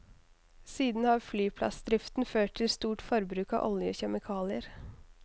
Siden har flyplassdriften ført til stort forbruk av olje og kjemikalier.